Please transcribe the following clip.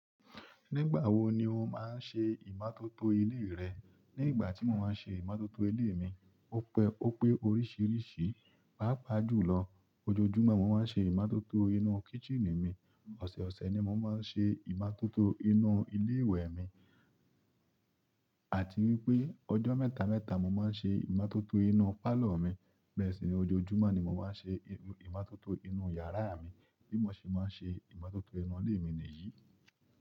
Nígbà wo ni o máa ń ṣe ìmátótó ilé rẹ? Ni ìgbà to mo maa n se imototo ile mi o pe orisiriisii páápàá jùlọ, ojoojúmọ́ mo máa ń ṣe ìmátótó inú kíṣìnì mi. Ọ̀sọ̀ọ̀sẹ̀ ni mo máa ń ṣe ìmátótó inú ilé ìwẹ̀ mi àti wípé ọjọ́ mẹ́ta mẹ́ta mo máa ń ṣe ìmátótó inú pálọ̀ mi. Bẹ́ẹ̀ sì ní ojoojúmọ́ ni mo máa ń ṣe ìmátótó inú yàrá mi. Bí mo ṣe máa ń ṣe ìmátótó inú ilé mi nìyí.